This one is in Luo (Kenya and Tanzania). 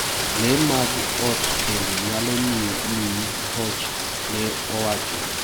Lee mag ot bende nyalo miyi hoch, ne owacho.